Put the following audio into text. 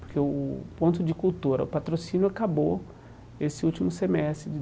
Porque o o ponto de cultura, o patrocínio, acabou esse último semestre.